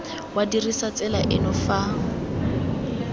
wa dirisa tsela eno fa